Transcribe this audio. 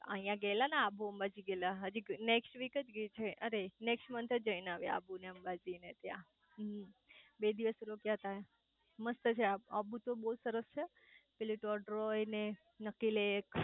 અહીંયા ગયેલા ને આબુ અંબાજી ગયેલા હજી નેક્સટ વીક જ જય છે અરે નેક્સટ મંથ જ જય ને આયા આબુ અંબાજી ને ત્યાં બે દિવસ રોકયા તા મસ્ત છે આબુ તો બઉ જ સરસ છે ટોડરોય અને નક્કી લેક